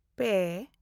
ᱯᱮ